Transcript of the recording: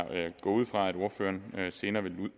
går ud fra at ordføreren senere vil